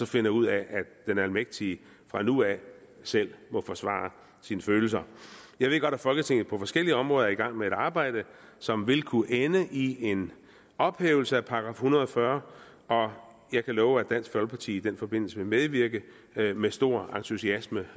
finder ud af at den almægtige fra nu af selv må forsvare sine følelser jeg ved godt at folketinget på forskellige områder er i gang med et arbejde som vil kunne ende i en ophævelse af § en hundrede og fyrre og jeg kan love at dansk folkeparti i den forbindelse vil medvirke med med stor entusiasme